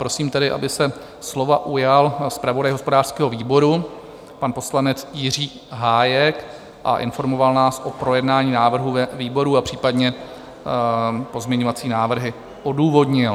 Prosím tedy, aby se slova ujal zpravodaj hospodářského výboru, pan poslanec Jiří Hájek, a informoval nás o projednání návrhu ve výboru a případně pozměňovací návrhy odůvodnil.